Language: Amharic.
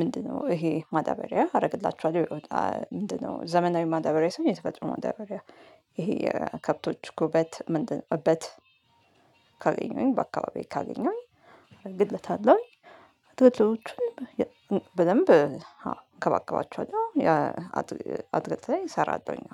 ምንድነው? ይሄ ማዳበሪያ አደርግላችኋለሁ ይወጣል። ምንድነው? ዘመናዊ ማዳበሪያ ሳይሆን የተፈጥሮ ማዳበሪያ ይሄ ከብቶች ኩበት ምንድነው እበት። ካገኘሁኝ በአካባቢዬ ካገኘሁኝ አረግብታሁኝ አለው። አትክልቶቹን በደምብ እንከባከባቸዋለን። አትክልት ላይ እሰራለሁኝ።